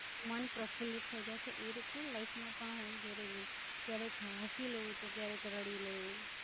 મન પ્રફ્ફુલિત થઇ જાય છે એ રીત નું લાઈફ માં પણ હોવું જરુરિ છે, ક્યારેક હસી લેવું જોઈએ ક્યારેક રડી લેવું જોઈએ.